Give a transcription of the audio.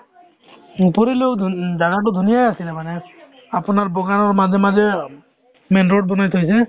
জাগাতো ধুনীয়াই আছিলে মানে আপোনাৰ মাজে মাজে অ main road বনাই থৈছে